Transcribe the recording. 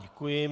Děkuji.